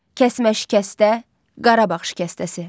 Kəsmə şikəstə, Qarabağ şikəstəsi.